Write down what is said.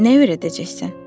Nə öyrədəcəksən?